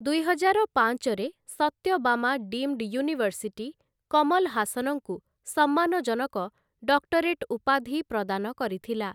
ଦୁଇହଜାର ପାଞ୍ଚରେ, 'Sathyabama deemed university' Kamal ହାସନ୍‌ଙ୍କୁ ସମ୍ମାନଜନକ 'ଡକ୍ଟରେଟ' ଉପାଧି ପ୍ରଦାନ କରିଥିଲା ।